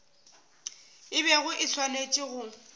e bego e swanetše go